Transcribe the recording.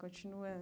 Continua.